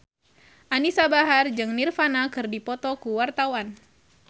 Anisa Bahar jeung Nirvana keur dipoto ku wartawan